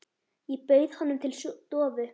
Ég bauð honum til stofu.